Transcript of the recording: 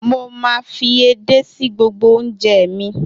Mo máa fi èdè sí gbogbo oúnjẹ mi.